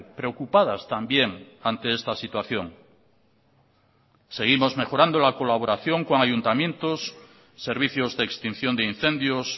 preocupadas también ante esta situación seguimos mejorando la colaboración con ayuntamientos servicios de extinción de incendios